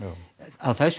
á þessum